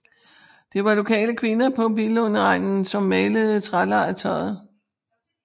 Det var lokale kvinder på Billundegnen som malede trælegetøjet